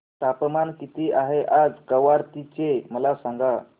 तापमान किती आहे आज कवारत्ती चे मला सांगा